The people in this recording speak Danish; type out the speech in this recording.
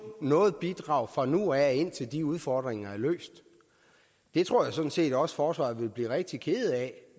noget bidrag fra nu af og indtil de udfordringer er løst det tror jeg sådan set også forsvaret ville blive rigtig kede af